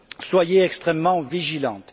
Soyez donc extrêmement vigilante.